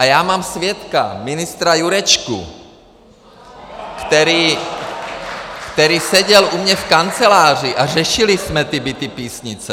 A já mám svědka, ministra Jurečku , který seděl u mě v kanceláři, a řešili jsme ty byty Písnice.